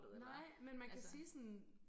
Nej men man kan sige sådan